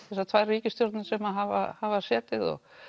þessar tvær ríkisstjórnir sem hafa hafa setið og